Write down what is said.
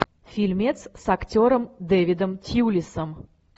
фильмец с актером дэвидом тьюлисом